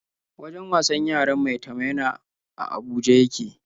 Wajen wasan yaran Maitama yana a Abuja ya ke.